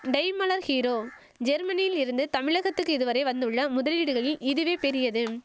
Daimler Hero ஜெர்மனியிலிருந்து தமிழகத்துக்கு இதுவரை வந்துள்ள முதலீடுகளில் இதுவே பெரியது